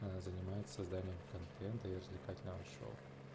а занимается созданием контента и развлекательного шоу